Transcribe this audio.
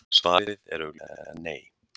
Svarið er augljóslega Nei.